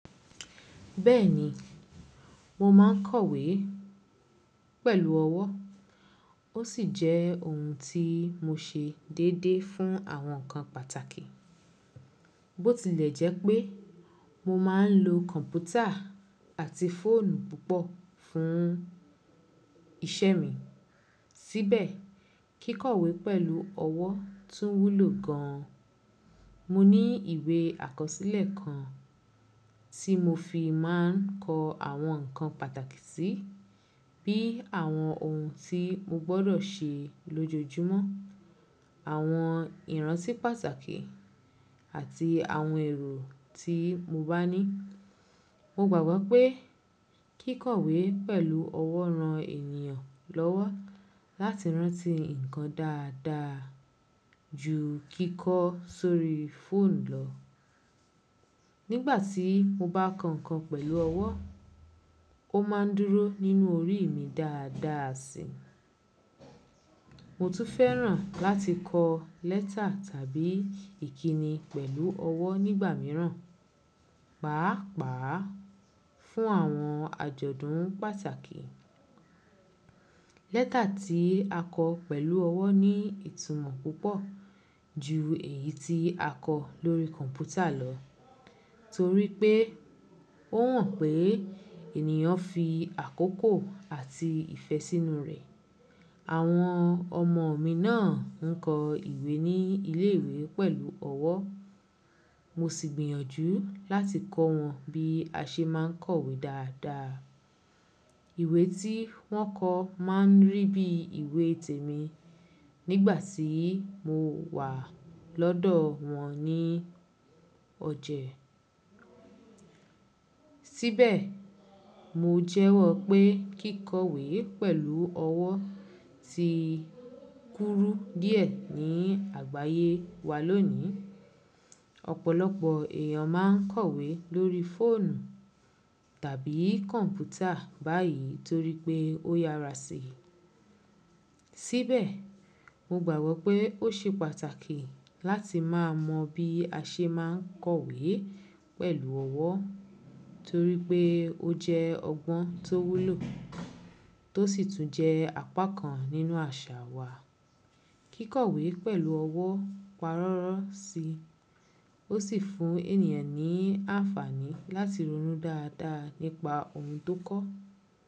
Bẹ́ẹ̀ni, mo máa ń kọ̀wé pẹ̀lú ọwọ́, ó sì jẹ́ ohun tí mo ṣe déédéé fún àwọn nkan pàtàkì. Bó tilẹ̀ jẹ́ pé mo máa ń lo kọ̀mpútà àti fóònù púpọ̀ fún iṣẹ́ mi, síbẹ̀ kíkọ̀wé pẹ̀lú ọwọ́ tún wúlò gan an. Mo ní ìwé àkọsílẹ̀ kan tí mo fi máa ń kọ àwọn nkan pàtàkì sí, bíi àwọn ohun tí mo gbọ́dọ̀ ṣe lójojúmọ́, àwọn ìrántí pàtàkì àti àwọn èrò tí mo bá ní. Mo gbàgbọ́ pé kíkọ̀wé pẹ̀lú ọwọ́ ran ènìyàn lọ́wọ́ láti rántí ǹkan dáadáa ju kíkọ́ sórí fóònù lọ. Nígbà tí mo bá kọ ǹkan pẹ̀lú ọwọ́, ó máa ń dúró nínú orí mi dáadáa sí i. Mo tún fẹ́ràn láti kọ lẹ́tà tàbí ìkíni pẹ̀lú ọwọ́ nígbà míràn, pàápàá fún àwọn àjọ̀dún pàtàkì. Lẹ́tà tí a kọ pẹ̀lú ọwọ́ ní ìtumọ̀ púpọ̀ ju èyí tí a kọ lórí kọ̀mpútà lọ, torí pé ó hàn pé ènìyàn fi àkókò àti ìfẹ́ sínú rẹ̀. Àwọn ọmọ mi náà ń kọ ìwé ní ilé ìwé pẹ̀lú ọwọ́, mo sì gbìyànjú láti kọ́ wọn bí a ṣe máa ń kọ̀wé dáadáa. Ìwé tí wọ́n kọ máa ń rí bí ìwé tèmi nígbà tí mo wà lọ́dọ̀ wọn ní ọjà. Síbẹ̀, mo jẹ́wọ́ pé kíkọ̀wé pẹ̀lú ọwọ́ ti kúrú díẹ̀ ní àgbáyé wa lónìí. Ọ̀pọ̀lọpọ̀ èèyàn máa ń kọ̀wé lórí fóònù tàbí kọ̀mpútà báyìí torí pé ó yàrá sí i. Síbẹ̀, mo gbàgbọ́ pé ó ṣe pàtàkì láti máa mọ bí a ṣe máa ń kọ̀wé pẹ̀lú ọwọ́ torí pé ó jẹ́ ọgbọ́n tó wúlò tó sì tún jẹ́ apá kan nínú àṣà wa. Kíkọ̀wé pẹ̀lú ọwọ́ parọ́rọ́ sí i, ó sì fún ènìyàn ní àǹfààní láti ronú dáadáa nípa ohun tó kọ.